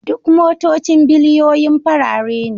Duk motocin biliyoyin farare ne